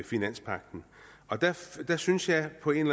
finanspagten der synes jeg på en